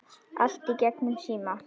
Allt í gegnum síma.